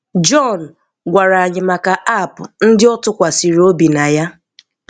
Jọn gwara anyị maka app ndị ọ tụkwasịrị obi na ya.